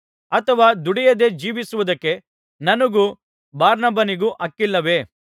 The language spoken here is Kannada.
ಅಥವಾ ದುಡಿಯದೆ ಜೀವಿಸುವುದಕ್ಕೆ ನನಗೂ ಬಾರ್ನಬನಿಗೂ ಹಕ್ಕಿಲ್ಲವೇ